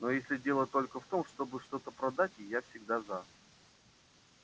но если дело только в том чтобы что-то продать я всегда за